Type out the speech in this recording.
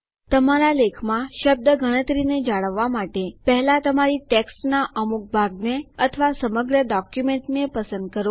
તમારા લેખમાં શબ્દ ગણતરીને જાળવવા માટે પહેલા તમારી ટેક્સ્ટના અમુક ભાગને અથવા સમગ્ર ડોક્યુમેન્ટને પસંદ કરો